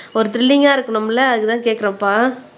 ஒரு த்ரில்லிங்கா இருக்கணும் இல்லை அதுக்குத்தான் கேட்கிறோம்ப்பா